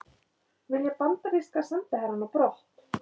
Vilja bandaríska sendiherrann á brott